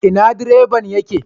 Ina direban ya ke?